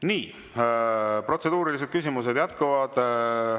Nii, protseduurilised küsimused jätkuvad.